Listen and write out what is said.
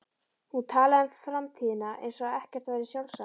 Hún talaði um framtíðina eins og ekkert væri sjálfsagðara.